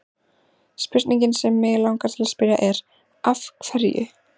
Spurningin sem mig langar til að spyrja er: Af hverju?